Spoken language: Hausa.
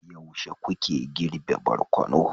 yaushe kuke girbe barkono